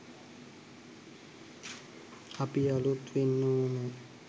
අපි අළුත් වෙන්න ඕන